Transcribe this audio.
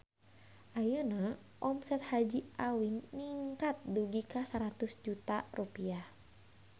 Ayeuna omset Haji Awing ningkat dugi ka 100 juta rupiah